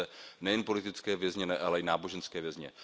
Máme zde nejen politické vězně, ale i náboženské vězně.